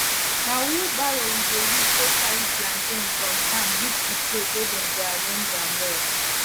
na wheelbarrow we dey use take carry plantain from farm reach the place wey dem go arrange am well